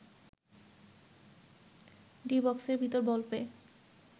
D বক্সের ভিতরে ball পেয়ে